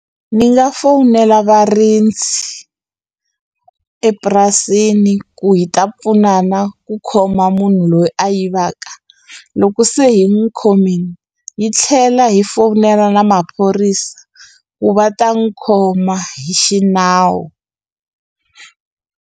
Ni nga fowunela varindzi epurasini ku hi ta pfunana ku khoma munhu loyi a yivaka loko se hi n'wu khomini hi tlhela hi fowunela na maphorisa ku va ta n'wu khoma hi xinawu.